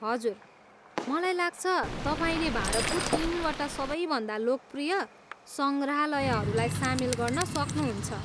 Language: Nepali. हजुर! मलाई लाग्छ, तपाईँले भारतको तिनवटा सबैभन्दा लोकप्रिय सङ्ग्रहालयहरूलाई सामेल गर्न सक्नुहुन्छ।